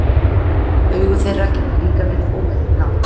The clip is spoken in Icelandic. Augu þeirra geta líka verið óvenju blá.